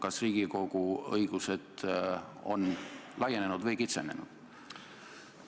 Kas Riigikogu õigused on laienenud või kitsenenud?